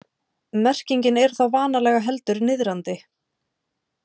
Merkingin er þá vanalega heldur niðrandi.